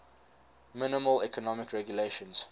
minimal economic regulations